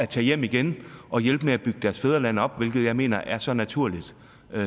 tager hjem igen og hjælper med at bygge deres fædreland op hvilket jeg mener er så naturligt